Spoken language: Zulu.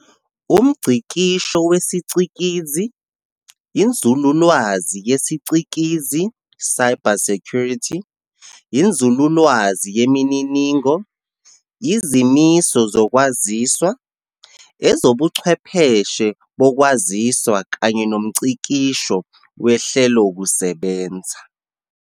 Umngcikisho wesicikizi, Inzululwazi yesiCikizi, "cybersecurity", inzululwazi yemininingo, izimiso zokwaziswa, ezobuchwepheshe bokwaziswa kanye nomngcikisho wehlelokusebenza.